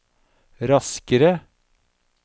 raskere